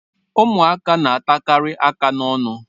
Ụmụaka na-atakarị aka n'ọnụ.